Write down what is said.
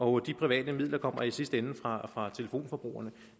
og de private midler kommer i sidste ende fra fra telefonbrugerne